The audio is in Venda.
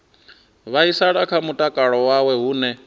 vhaisala kha mutakalo wawe hune